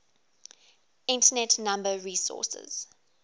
internet number resources